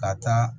Ka taa